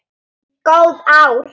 Góð ár.